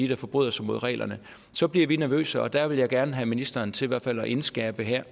der forbryder sig mod reglerne så bliver vi nervøse og der vil jeg gerne have ministeren til i hvert fald at indskærpe her